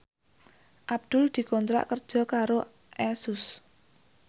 Abdul dikontrak kerja karo Asus